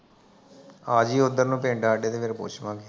ਆਜੀ ਓਧਰੋ ਨੂੰ ਪਿੰਡ ਸਾਡੇ ਫੇਰ ਪੁੱਛਲਾਂਗੇ